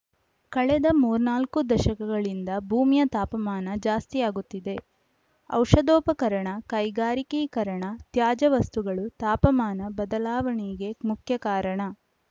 ಕಳೆದ ಮೂರ್ನಾಲ್ಕು ದಶಕಗಳಿಂದ ಭೂಮಿಯ ತಾಪಮಾನ ಜಾಸ್ತಿಯಾಗುತ್ತಿದೆ ಔಷಧೋಪಕರಣ ಕೈಗಾರಿಕೀಕರಣ ತ್ಯಾಜ್ಯ ವಸ್ತುಗಳು ತಾಪಮಾನ ಬದಲಾವಣೆಗೆ ಮುಖ್ಯ ಕಾರಣ